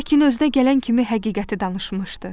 Lakin özünə gələn kimi həqiqəti danışmışdı.